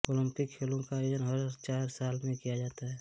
Olympic खेलो का आयोजन हर चार साल में किया जाता है